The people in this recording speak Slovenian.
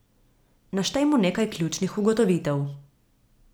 Naštejmo nekaj ključnih ugotovitev.